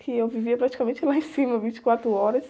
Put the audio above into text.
Que eu vivia praticamente lá em cima, vinte e quatro horas.